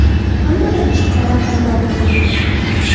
Hammada ichki talab paydo bo‘ldi.